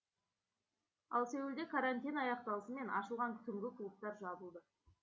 ал сеулде карантин аяқталысымен ашылған түнгі клубтар жабылды